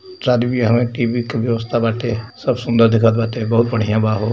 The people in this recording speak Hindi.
शादी व्याह मैं टी_वी के व्यवस्था बाटे सब सुन्दर दिखत बाटे बहुत बढ़िया बा हो।